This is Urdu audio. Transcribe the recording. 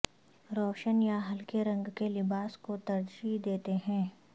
روشن یا ہلکے رنگ کے لباس کو ترجیح دیتے ہیں